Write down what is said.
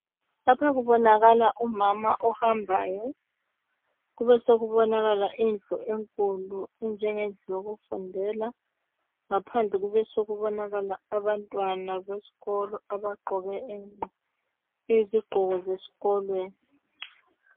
Lapha kubonakala umama ohambayo kubesekubonakala indlu enkulu enjengendlu yokufundela ngaphandle kubesekubonakala abantwana besikolo abagqoke inqo izigqoko zesikolweni.